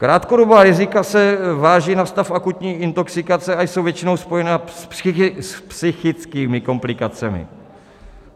Krátkodobá rizika se vážou na stav akutní intoxikace a jsou většinou spojena s psychickými komplikacemi.